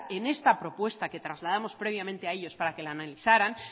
en esta propuesta que trasladamos previamente a ellos para que la analizaran